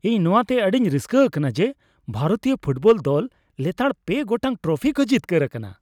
ᱤᱧ ᱱᱚᱣᱟᱛᱮ ᱟᱹᱰᱤᱧ ᱨᱟᱹᱥᱠᱟᱹ ᱟᱠᱟᱱᱟ ᱡᱮ ᱵᱷᱟᱨᱚᱛᱤᱭᱟᱹ ᱯᱷᱩᱴᱵᱚᱞ ᱫᱚᱞ ᱞᱮᱛᱟᱲ ᱓ ᱜᱚᱴᱟᱜ ᱴᱨᱚᱯᱷᱤ ᱠᱚ ᱡᱤᱛᱠᱟᱹᱨ ᱟᱠᱟᱱᱟ ᱾